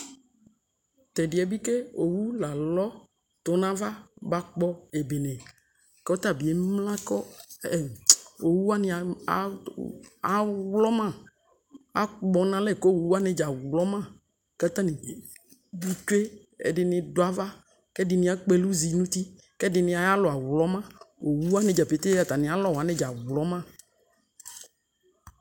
tɛdiɛ bi ke owu lalɔ to ava bakpɔ ebene ko ɔta bi emla ko owu wane awlɔma akpɔ no alɛ ko owu wane dza awlɔma ko ata ni tsue edini du ava ko edidi akpɔ ɛlo zi no uti ko edi ayalɔ awlɔma owu wane dza ƒete atame alɔ awlɔma